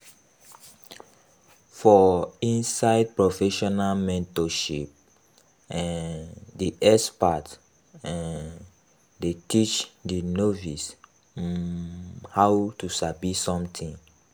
For inside professional mentorship um di expert um dey teach di novice um how to sabi something